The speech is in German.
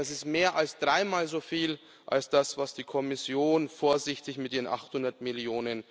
Das ist mehr als dreimal so viel wie das, was die Kommission vorsichtig mit ihren 800 Mio.